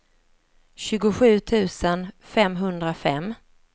tjugosju tusen femhundrafem